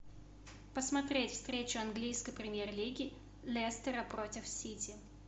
посмотреть встречу английской премьер лиги лестера против сити